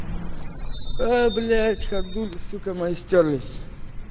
а блять ходули сука мои стёрлись